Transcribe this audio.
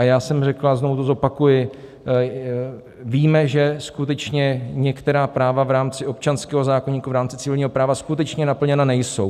A já jsem řekl, a znovu to zopakuji, víme, že skutečně některá práva v rámci občanského zákoníku, v rámci civilního práva skutečně naplněna nejsou.